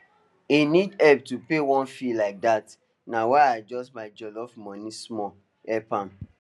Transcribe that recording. he need help to pay one fee like that na why i adjust my jollof money small help am